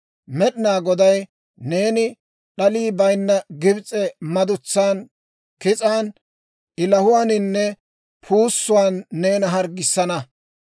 «Med'inaa Goday neena d'alii bayinna Gibs'e madutsan, kis'an, ilahuwaaninne puussuwaan neena harggissana.